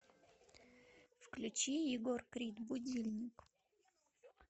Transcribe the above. включи егор крид будильник